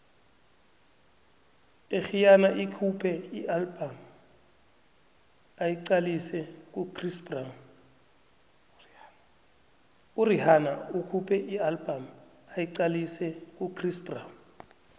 urhihana ukhuphe ialbum ayiqalise kuchris brown